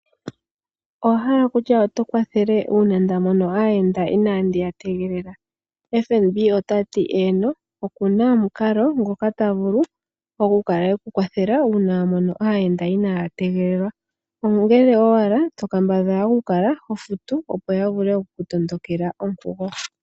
Owa hala kutya oto vulu okukwathela uuna nda mono aayenda inandi ya tegelela? Fnb ota ti eeno, ye oku na omukalo ngoka ta vulu oku ku kwathela nago uuna wa mono aayenda inaya tegelelwa, ihe ongele owala to kambadhala okukala ho futu opo ya vule oku ku tondokela onkugo.